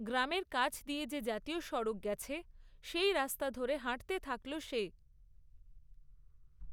গ্রামের কাছ দিয়ে যে জাতীয় সড়ক গেছে, সেই রাস্তা ধরে হাঁটতে থাকল সে।